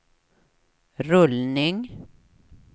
rullning